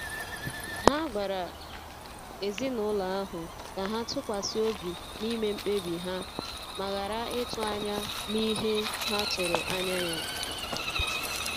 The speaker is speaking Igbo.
Ha gwara um ezinụlọ ahụ ka ha tụkwasi obi n'ime mkpebi ha ma ghara ịtụ anya n'ihe ha tụrụ anya ya.